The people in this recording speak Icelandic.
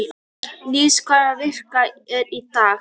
Níls, hvaða vikudagur er í dag?